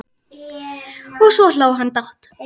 Og svo hló hann dátt!